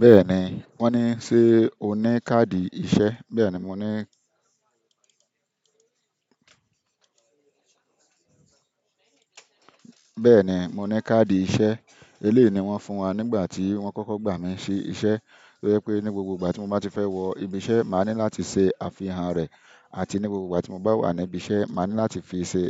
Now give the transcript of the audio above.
Bẹ́ẹ̀ni, wọ́n ní ṣe o ní káàdì iṣẹ́? Bẹ́ẹ̀ni mo ní, bẹ́ẹ̀ni mo ní káàdì iṣẹ́. Eléyìí ni wọ́n fún wa nígbà tí wọ́n kọ́kọ́ gbà mí ṣi iṣẹ́. To jẹ pé ní gbogbo ìgbà tí mo bá ti fẹ́ wọ ibi iṣẹ́, màá ní láti ṣe àfihàn rẹ̀. Àti ní gbogbo ìgbà tí mo bá wà ní ibi iṣẹ́, màá ní láti fi ṣe